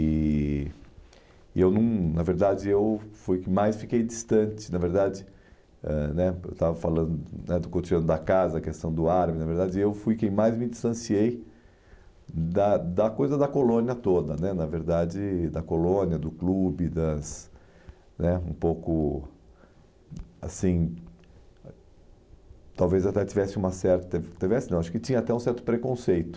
E e eu, não, na verdade, eu fui o que mais fiquei distante, na verdade, eh né porque eu estava falando né do cotidiano da casa, a questão do árabe, na verdade, eu fui quem mais me distanciei da da coisa da colônia toda né, na verdade, da colônia, do clube, das né um pouco, assim, talvez até tivesse uma certa, tivesse não, acho que tinha até um certo preconceito,